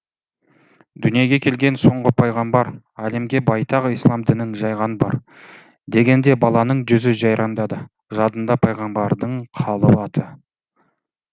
дүниеге келген соңғы пайғамбар әлемге байтақ ислам дінін жайған бар дегенде баланың жүзі жайраңдады жадында пайғамбардың қалып аты